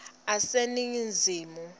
aseningizimu